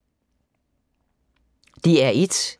DR1